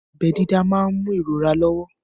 Abẹ́ dídá máà ń mú ìrora lọ́wọ́.